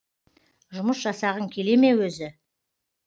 жұмыс жасағың келе ме өзі